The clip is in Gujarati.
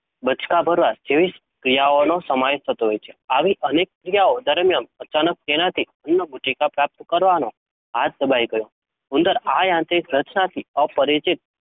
બચકાં ભરવા જેવી ક્રિયાઓનો સમાવેશ થતોહોય છે. આવી અનેક ક્રિયાઓ દરમ્યાન અચાનક તેનાથી અન્નગુટિકા પ્રાપ્તમ કરવાનો હાથો દબાઈ ગયો. ઉંદર આ યાંત્રિક રચનાથી અપરિચિત